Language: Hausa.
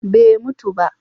bai mutu ba?